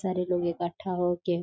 सारे लोग इकट्ठा हो के--